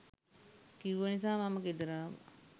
කිව්ව නිසා මම ගෙදර ආවා.